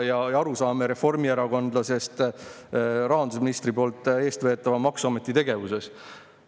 Milline on arusaam reformierakondlasest rahandusministri eestveetava maksuameti tegevusest?